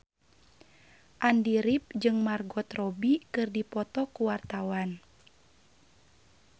Andy rif jeung Margot Robbie keur dipoto ku wartawan